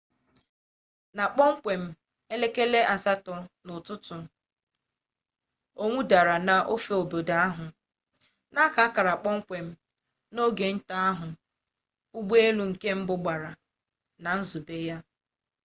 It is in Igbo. na kpọmkwem n'elekere asatọ nke ụtụtụ owu dara n'ofe obodo ahụ na-aka akara kpọmkwem ogenta ahụ ụgbọelu nke mbụ gbara na nzube ya